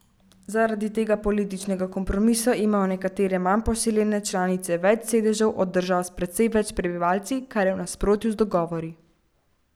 Zaradi tega političnega kompromisa imajo nekatere manj poseljene članice več sedežev od držav s precej več prebivalci, kar je v nasprotju z dogovori.